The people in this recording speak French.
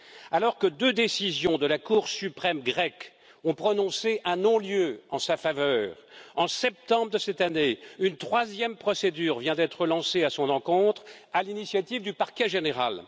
Alors que deux décisions de la Cour suprême grecque ont prononcé un non lieu en sa faveur, en septembre de cette année, une troisième procédure vient d'être lancée à son encontre à l'initiative du parquet général.